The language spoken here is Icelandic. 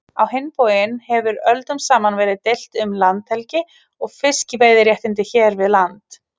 Á hinn bóginn hefur öldum saman verið deilt um landhelgi og fiskveiðiréttindi hér við land.